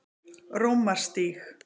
Rómarstíg